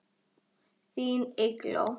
Þín Eygló.